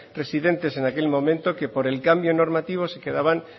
residentes en aquel momento que por el cambio normativo se quedaban